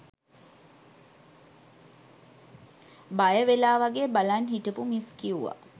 බය වෙලා වගේ බලන් හිටපු මිස් කිව්ව